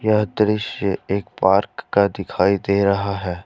यह दृश्य एक पार्क का दिखाई दे रहा है।